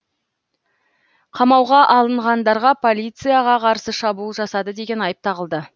қамауға алынғандарға полицияға қарсы шабуыл жасады деген айып тағылды